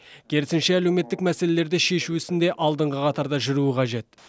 керісінше әлеуметтік мәселелерді шешу ісінде алдыңғы қатарда жүруі қажет